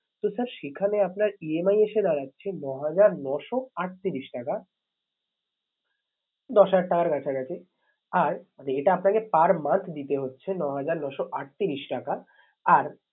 তো sir সেখানে আপনার EMI এসে দাঁড়াচ্ছে নহাজার নশো আটত্রিশ টাকা দশ হাজার টাকার কাছাকাছি। আর এটা আপনাকে per month দিতে হচ্ছে নহাজার নশো আটত্রিশ টাকা আর